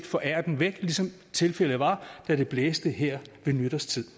forære den væk ligesom tilfældet var da det blæste her ved nytårstid